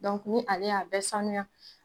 ni ale y'a bɛ sanuya.